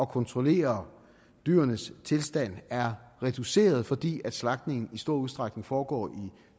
kontrollere dyrenes tilstand er reduceret fordi slagtningen i stor udstrækning foregår i